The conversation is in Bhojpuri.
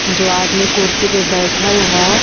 जो आदमी कुर्सी पे बैठल ह।